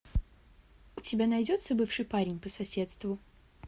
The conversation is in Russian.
у тебя найдется бывший парень по соседству